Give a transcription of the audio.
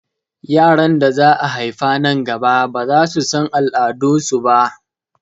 Yaran da za a haifa nan gaba baza su san al'adu su ba